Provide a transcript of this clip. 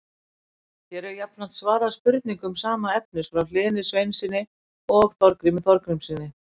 Hér er jafnframt svarað spurningum sama efnis frá Hlyni Sveinssyni og Þorgrími Þorgrímssyni.